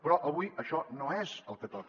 però avui això no és el que toca